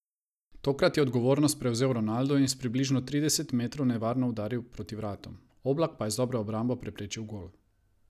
Tokrat je odgovornost prevzel Ronaldo in s približno tridesetih metrov nevarno udaril proti vratom, Oblak pa je z dobro obrambo preprečil gol.